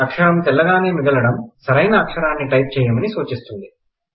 అక్షరం తెల్లగానే మిగలడం సరైన అక్షరం టైప్ చెయ్యమని సూచిస్తుంది